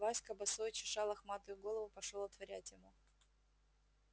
васька босой чеша лохматую голову пошёл отворять ему